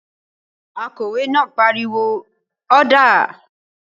Akòwé náà pariwo "ọ́dà!"